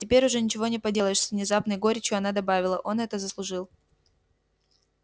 теперь уже ничего не поделаешь с внезапной горечью она добавила он это заслужил